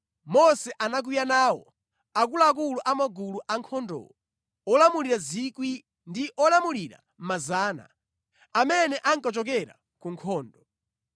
Mose anakwiya nawo akuluakulu a magulu a ankhondowo: olamulira 1,000 ndi olamulira 100, amene ankachokera ku nkhondo.